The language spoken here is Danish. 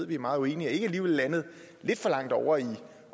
vi er meget uenige landet lidt for langt ovre i